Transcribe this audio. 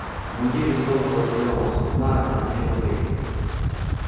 мундир из тонкого зелёного сукна на семь рублей